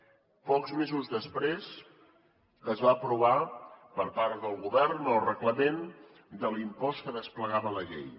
pocs mesos després es va aprovar per part del govern el reglament de l’impost que desplegava la llei